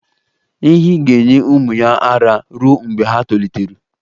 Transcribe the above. Ehi ga-enye ụmụ ya ara ruo mgbe ha tolitetụrụ.